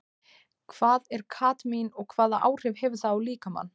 Hvað er kadmín og hvaða áhrif hefur það á líkamann?